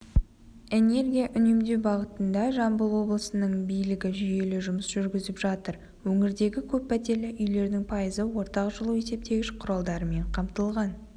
энергия үнемдеу бағытында жамбыл облысының билігі жүйелі жұмыс жүргізіп жатыр өңірдегі көп пәтерлі үйлердің пайызы ортақ жылу есептегіш құралдарымен қамтылған